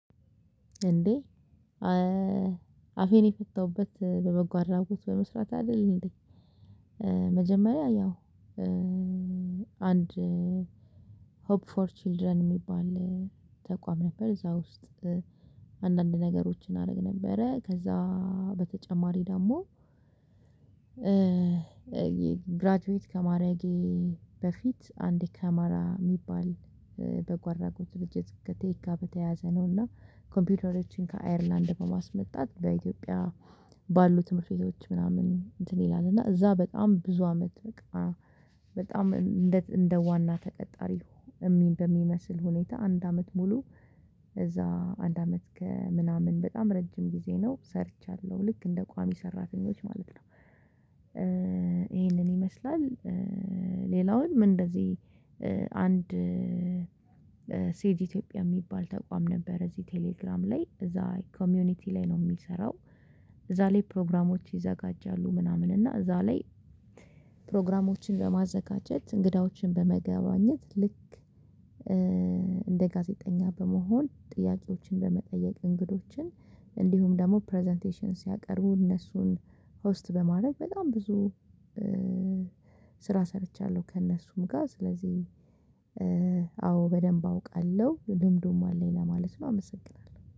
እንዴ አፌን የፈታሁበት በበጎ አድራጎት በመስራት አይደል? እንዴ መጀመሪያ ያው አንድ ሆፕ ፎር ችልድረን የሚባል ተቋም ነበር እዛ ውስጥ አንዳንድ ነገሮችን አደረግ ነበረ ከዛ በተጨማሪ ደሞ ግራጁዌት ከማድረጌ በፊት አንድ ከማራ የሚባል በኦ አድራጎት ድርጅት ከቴክ ጋር በተያያዘ ነውና ኮምፒውተሮችን ከአየርላንድ በማስመጣት በኢትዮጵያ ባሉ ትምህርት ቤቶች ምናምን እንትን ይላል እና እዛ በጣም ብዙ አመት በቃ በጣም እንደ እንደ ዋና ተቀጣሪ በሚመስል ሁኔታ አንድ አመት ሙሉ እዛ አንድ አመት ከምናምን በጣም ረጅም ጊዜ ነው ሰርቻለሁ ልክ እንደ ቋሚ ሰራተኞች ማለት ነው። ይሄንን ይመስላል። ሌላውን ምን እንደዚህ አንድ ሴት ኢትዮጵያ የሚባል ተቋም ነበር እዚህ ቴሌግራም ላይ እዛ ኮሚኒቲ ላይ ነው የሚሰራው። እዛ ላይ ፕሮግራሞች ይዘጋጃሉ ምናምን እና እዛ ላይ ፕሮግራሞችን በማዘጋጀት እንግዳዎችን በመገበኘት ልክ እንደ ጋዜጠኛ በመሆን ጥያቄዎችን በመጠየቅ እንግዶችን እንዲሁም ደግሞ ፕረዘንቴሽን ሲያቀርቡ እነሱን ሆስት በማድረግ በጣም ብዙ ስራ ሰርቻለሁ። ከእነሱም ጋር ስለዚህ አዎ በደንብ አውቃለሁ ልምዱም አለኝ ለማለት ነው። አመሰግናለሁ